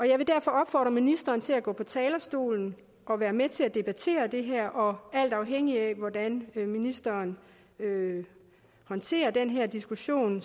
jeg vil derfor opfordre ministeren til at gå på talerstolen og være med til at debattere det her og alt afhængigt af hvordan ministeren håndterer den her diskussion